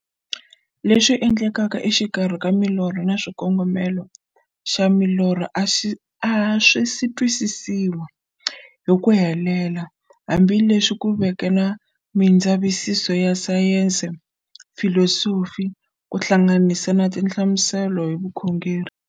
Leswi endlekaka exikarhi ka milorho na xikongomelo xa milorho a swisi twisisiwa hi ku helela, hambi leswi ku veke na mindzavisiso ya sayensi, filosofi ku hlanganisa na tinhlamuselo hi vukhongori.